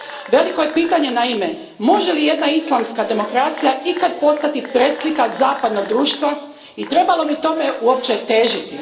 Veliko je pitanje može li jedna islamska demokracija ikad postati preslika zapadnog društva i trebamo li tome uopće težiti?